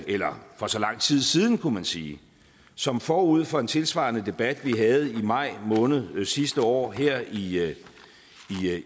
eller for så lang tid siden kunne man sige som forud for en tilsvarende debat vi havde i maj måned sidste år her i